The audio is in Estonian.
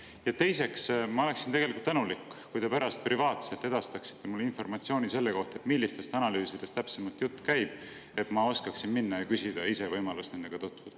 Ja teiseks, ma oleksin tänulik, kui te pärast privaatselt edastaksite mulle informatsiooni selle kohta, millistest analüüsidest täpsemalt jutt käib, et ma oskaksin minna ja küsida ise võimalust nendega tutvuda.